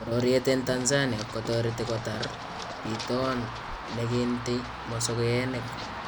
Bororyeet en Tanzania kotoretii kotaar bitoon neki ntiiy mosokeenik